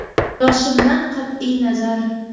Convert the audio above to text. Yoshimdan qat’iy nazar.